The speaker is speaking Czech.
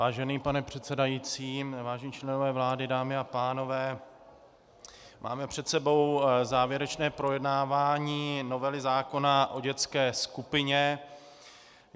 Vážený pane předsedající, vážení členové vlády, dámy a pánové, máme před sebou závěrečné projednávání novely zákona o dětské skupině.